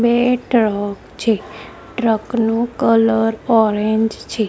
બે ટ્રક છે ટ્રક નુ કલર ઓરેન્જ છે.